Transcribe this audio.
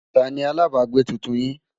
tá ní alábágbé túntùn yín?